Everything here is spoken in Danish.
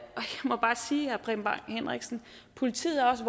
må bare sige herre preben bang henriksen at politiet også